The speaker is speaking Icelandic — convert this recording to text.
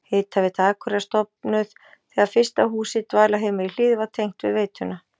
Hitaveita Akureyrar stofnuð þegar fyrsta húsið, dvalarheimilið Hlíð, var tengt við veituna.